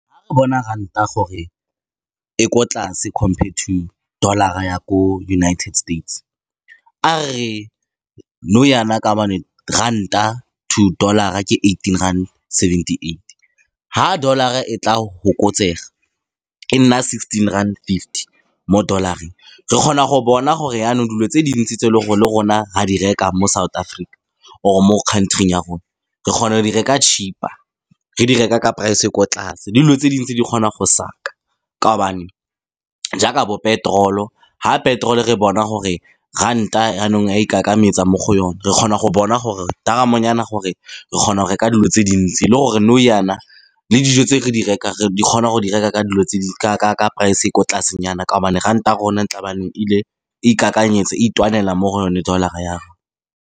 Fa re bona ranta gore e ko tlase compared to dollar-a ya ko United States, a re re nou jaana ka gobane ranta to dollar-a ke eighteen rand seventy-eight. Fa dollar-a e tla go fokotsega e nna sixteen rand fifty mo dollar-eng, re kgona go bona gore jaanong dilo tse dintsi tse e leng gore le rona ra di reka mo South Africa or-e mo country-ing ya rona re kgona go di reka cheaper, re di reka ka price e ko tlase, le dilo tse dintsi di kgona go saka ka gobane jaaka bo petrol-o, fa petrol-o re bona gore ranta jaanong ya mo go yone, re kgona go bona gore taramonyana gore re kgona go reka dilo tse dintsi. Le gore nou jaana le dijo tse re di rekang re, di kgona go di reka ka dilo tse di ka price-e e ko tlasenyana ka gobane ranta ya rona ile, ikakanyetsa e itwanela mo go yone dollar-a .